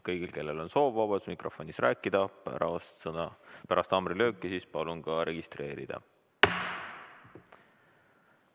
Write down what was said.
Kõigil, kellel on soov vabas mikrofonis rääkida, palun pärast haamrilööki registreeruda.